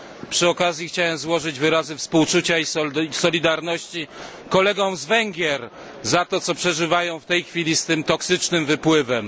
Przy okazji chciałem złożyć wyrazy współczucia i solidarności kolegom z Węgier za to, co przeżywają w tej chwili z tym toksycznym wypływem.